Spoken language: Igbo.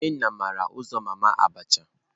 Nnena mara uzo mama abacha.